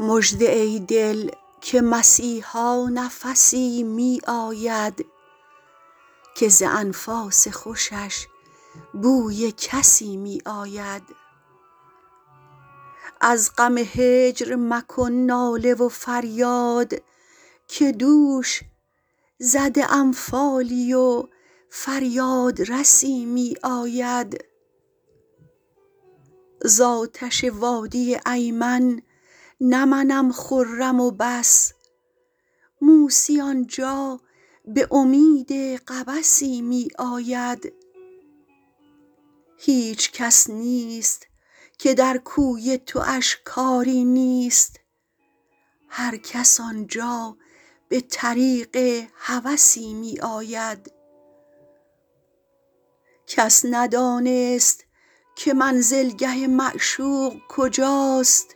مژده ای دل که مسیحا نفسی می آید که ز انفاس خوشش بوی کسی می آید از غم هجر مکن ناله و فریاد که دوش زده ام فالی و فریادرسی می آید زآتش وادی ایمن نه منم خرم و بس موسی آنجا به امید قبسی می آید هیچ کس نیست که در کوی تواش کاری نیست هرکس آنجا به طریق هوسی می آید کس ندانست که منزلگه معشوق کجاست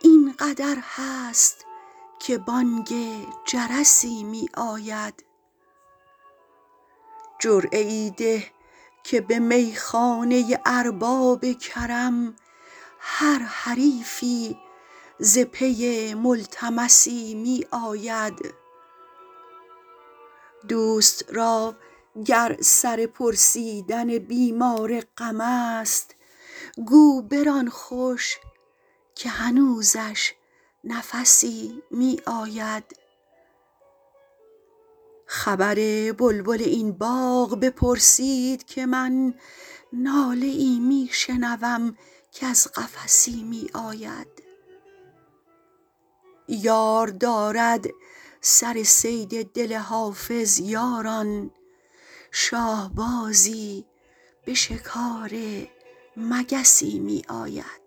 این قدر هست که بانگ جرسی می آید جرعه ای ده که به میخانه ارباب کرم هر حریفی ز پی ملتمسی می آید دوست را گر سر پرسیدن بیمار غم است گو بران خوش که هنوزش نفسی می آید خبر بلبل این باغ بپرسید که من ناله ای می شنوم کز قفسی می آید یار دارد سر صید دل حافظ یاران شاهبازی به شکار مگسی می آید